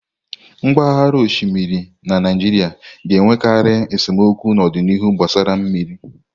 Mpaghara osimiri na Naijiria ga-enwekarị esemokwu n'ọdịnihu gbasara mmiri